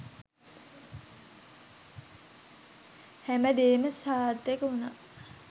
හැමදේම සාර්ථක වුණා.